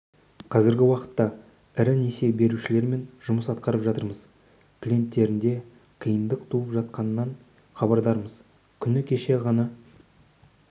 қазіргі уақытта ірі несие берушілермен жұмыс атқарып жатырмыз клиенттерінде қиындық туып жатқанынан хабардармыз күні кеше ғана